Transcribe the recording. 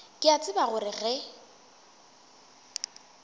ke a tseba gore ge